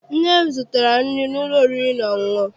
Nne m zụtara anyị nri n'ụlọ oriri na ọṅụṅụ.